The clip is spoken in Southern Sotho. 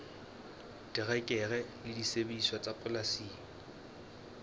terekere le disebediswa tsa polasing